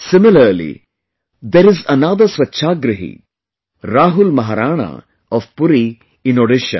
Similarly, there is another Swachhagrahi Rahul Maharana of Puri in Orissa